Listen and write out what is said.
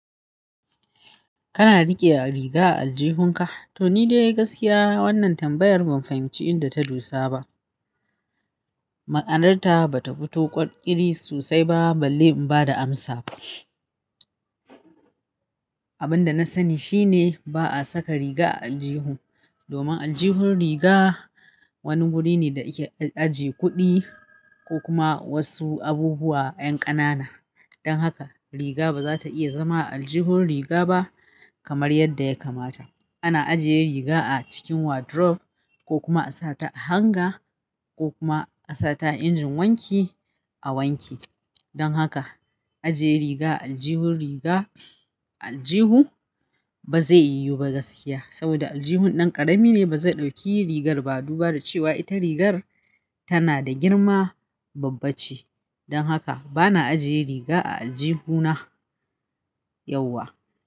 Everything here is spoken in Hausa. Kana riƙe a riga a aljihunka? To ni dai gaskiya wannan tambayar ban fahimci inda ta dosa ba. Ma'anarta bata fito ƙwar ƙiri sosai ba balle in bada amsa. Abin da na sani shine ba a saka riga a aljihu domin aljihun riga wani wuri ne da ike ajje kuɗi ko kuma wasu abubuwa 'yan ƙanana. Dan haka riga baza ta iya zama a aljihun riga ba kamar yadda ya kamata. Ana ajiye riga a cikin wardrobe ko kuma a sa ta a hanger ko kuma a sa ta a injin wanki a wanke. Dan haka ajiye riga a aljihun riga a aljihu ba zai yiwu ba gaskiya saboda aljihun dan ƙarami ne ba zai ɗauki rigar ba duba da cewa ita rigar tana da girma babba ce. Dan haka bana ajiye riga a aljihuna yauwa.